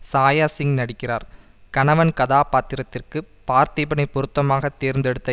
சாயாசிங் நடிக்கிறார் கணவன் கதாபாத்திரத்திற்கு பார்த்திபனை பொருத்தமாக தேர்ந்தெடுத்த